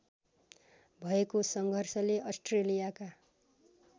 भएको सङ्घर्षले अस्ट्रेलियाका